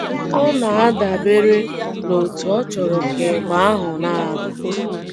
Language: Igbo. Ọ na - adabere n’otú ọ chọrọ ka ịgba ahụ na - ada.